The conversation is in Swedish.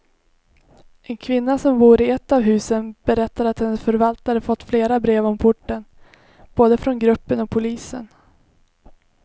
En kvinna som bor i ett av husen berättar att hennes förvaltare fått flera brev om porten, både från gruppen och polisen.